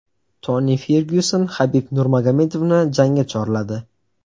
Toni Fergyuson Habib Nurmagomedovni jangga chorladi.